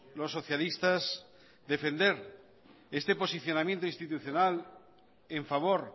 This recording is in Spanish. los socialistas queremos defender este posicionamiento institucional en favor